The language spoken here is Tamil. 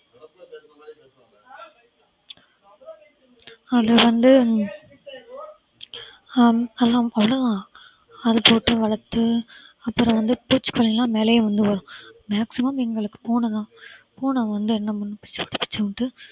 அதுல வந்து ஹம் அது போட்டு வளர்த்து அப்புறம் வந்து பூச்சிக்கொல்லி எல்லாம் மேலயே வந்துரும் maximum எங்க்களுக்கு பூனை தான் பூனை வந்து என்ன பண்ணும் பிச்சி போட்டு பிச்சி போட்டு